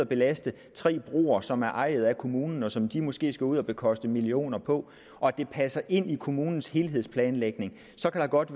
belaste tre broer som er ejet af kommunen og som de måske skal ud at bekoste millioner på og det passer ind i kommunens helhedsplanlægning så kan der godt